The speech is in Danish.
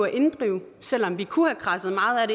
inddrive selv om vi kunne have kradset meget af